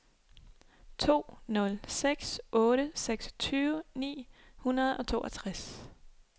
to nul seks otte seksogtyve ni hundrede og toogtres